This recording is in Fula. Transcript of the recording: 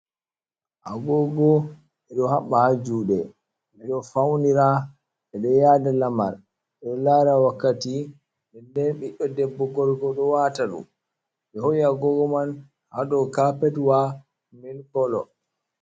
Agoogo, ɓe ɗo habɓa haa juude, ɓe ɗo fawnira be ɗo yaada lamar, ɓe ɗo laara wakkati. Nde- den biɗɗo debbo debbo ko gorko ɗo wata ɗum ɓe hoo`i agoogo man haa ɗow kaapetwa milik kolo.